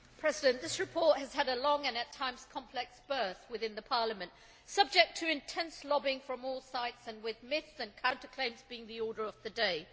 Mr President, this report has had a long, and at times complex, birth within Parliament, subject to intense lobbying from all sides, and with myths and counterclaims being the order of the day.